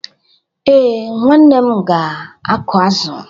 Ee, nwanne m ga-akụ azụ.